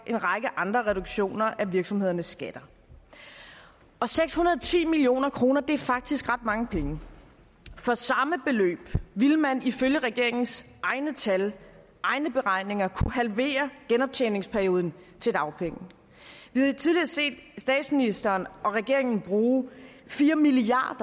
en række andre reduktioner af virksomhedernes skatter og seks hundrede og ti million kroner er faktisk ret mange penge for samme beløb ville man ifølge regeringens egne tal og egne beregninger kunne halvere genoptjeningsperioden til dagpenge vi har tidligere set statsministeren og regeringen bruge fire milliard